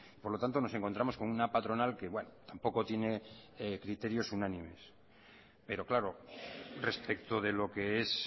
por lo tanto nos encontramos con una patronal que tampoco tiene criterios unánimes pero claro respecto de lo que es